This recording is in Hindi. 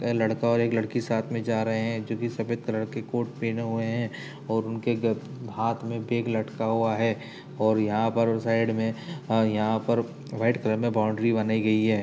ए लड़का और एक लड़की एक साथ में जा रहे हैं जोकि सफ़ेद कलर की कोट पहने हुए हैं और उनके ग हाथ में बेग लटका हुआ है और यहाँ पर वो साइड में अ यहाँ पर वाइट कलर में बाउंड्री बनाई गई है।